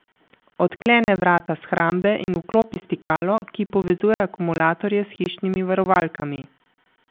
Odklene vrata shrambe in vklopi stikalo, ki povezuje akumulatorje s hišnimi varovalkami.